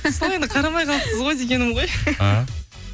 сол енді қарамай қалыпсыз ғой дегенім ғой